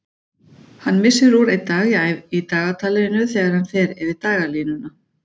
Hann missir úr einn dag í dagatalinu þegar hann fer yfir dagalínuna.